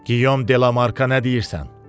Qiyom de la Marka nə deyirsən?